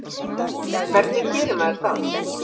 Hvernig gerir maður það?